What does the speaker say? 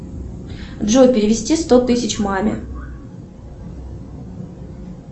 джой перевести сто тысяч маме